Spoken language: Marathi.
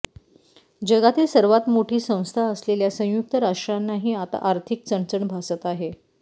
जगातील सर्वात मोठी संस्था असलेल्या संयुक्त राष्ट्रांनाही आता आर्थिक चणचण भासत आहे